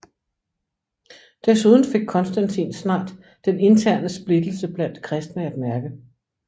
Desuden fik Konstantin snart den interne splittelse blandt kristne at mærke